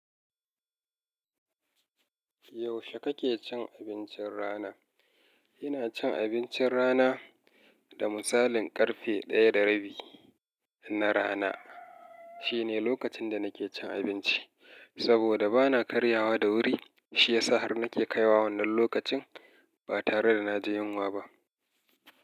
Yaushe kake cin abincin rana? Ina cin abincin rana da misalin karfe 1:30 na rana. Shine lokacin da nake cin abinci saboda bana karyawa da wuri. Shiyasa har nake kaiwa wannan lokacin ba tare da na je yinwa ba.